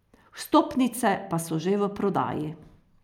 Vstopnice pa so že v prodaji.